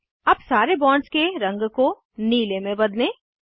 अब सारे बॉन्ड्स के रंग को नीले में बदलें